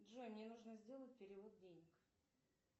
джой мне нужно сделать перевод денег